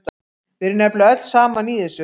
Við erum nefnilega öll saman í þessu.